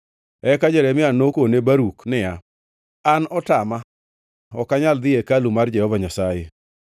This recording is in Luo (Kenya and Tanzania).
Eka Jeremia nokone Baruk niya, “An otama; ok anyal dhi e hekalu mar Jehova Nyasaye.